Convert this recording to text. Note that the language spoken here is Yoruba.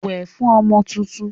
Wẹ̀ fún ọmọ tuntun!